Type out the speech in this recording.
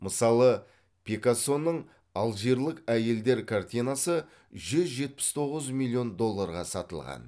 мысалы пикассоның алжирлік әйелдер картинасы жүз жетпіс тоғыз миллион долларға сатылған